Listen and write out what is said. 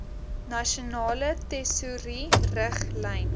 nasionale tesourie riglyne